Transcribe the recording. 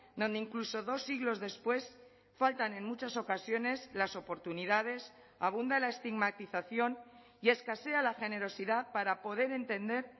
donde incluso dos siglos después faltan en muchas ocasiones las oportunidades abunda la estigmatización y escasea la generosidad para poder entender